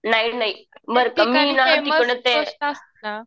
नाही नाही बरं का मी ना